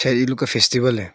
है ये लोग का फेस्टिवल है।